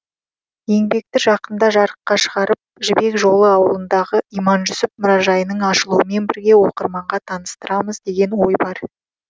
еңбекті жақында жарыққа шығарып жібек жолы ауылындағы иманжүсіп мұражайының ашылуымен бірге оқырманға таныстырамыз деген ой бар